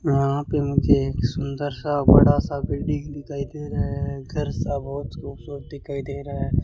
यहां पे मुझे एक सुंदर सा बड़ा सा बिल्डिंग दिखाई दे रहा है घर सा बहुत खूबसूरत दिखाई दे रहा है।